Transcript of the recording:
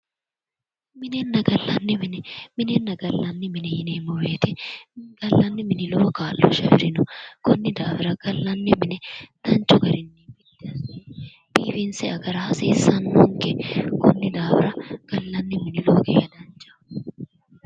Minenna gallanni mine, minenna gallanni mine yineemmo woyte gallanni mini lowo kaa'lo afirino konni daafira gallanni mine danchu garinni minanni, biifinsayi gari hasiisano konni daafira gallani mini hasiisano